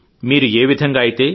మీరు ఏవిధంగా అయితే